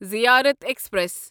زیارت ایکسپریس